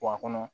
Wa a kɔnɔ